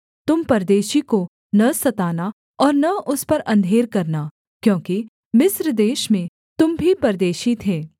तुम परदेशी को न सताना और न उस पर अंधेर करना क्योंकि मिस्र देश में तुम भी परदेशी थे